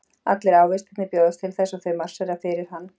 Allir ávextirnir bjóðast til þess og þau marsera fyrir hann.